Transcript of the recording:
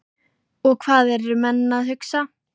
Og hvað eru menn að hugsa?